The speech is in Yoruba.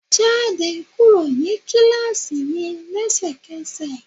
Jáde kúrò ní kíláàsì mi lẹ́sẹkẹ́sẹ̀.!